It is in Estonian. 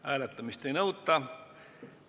Hääletamist ei nõuta.